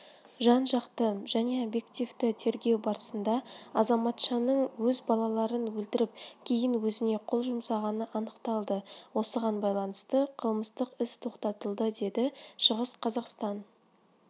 жан-жақты жәнеобъективті тергеу барысында азаматшаның өз балаларын өлтіріп кейін өзіне қол жұмсағаны анықталды осыған байланысты қылмыстық іс тоқтатылды деді шығыс қазақстан